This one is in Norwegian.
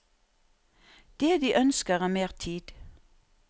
Det de ønsker er mer tid.